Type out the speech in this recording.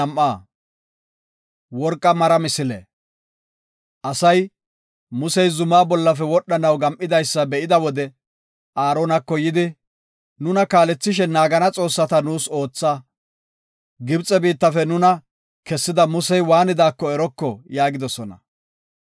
Asay, Musey zumaa bollafe wodhanaw gam7idaysa be7ida wode Aaronako yidi, “Nuna kaalethishe naagana xoossata nuus ootha. Gibxe biittafe nuna kessida Musey waanidaako eroko” yaagidosona.